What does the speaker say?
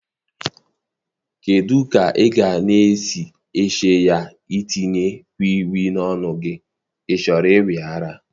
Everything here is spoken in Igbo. Kedụ ka ịga esi chee ya itinye Wii Wii n'onu gi, ị chọrọ ịwe ara?